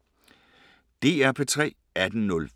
DR P3